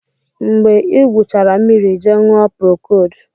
Mgbe ị gwụchara mmiri ị jee ṅụọ procold